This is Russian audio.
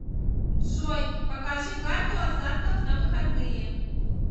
джой покажи карту осадков на выходные